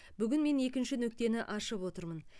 бүгін мен екінші нүктені ашып отырмын